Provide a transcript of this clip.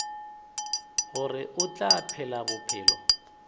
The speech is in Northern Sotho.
gore o tla phela bophelo